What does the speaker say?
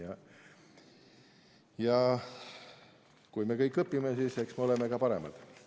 Aga kui me kõik õpime, siis eks me oleme ka paremad.